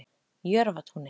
Jörfatúni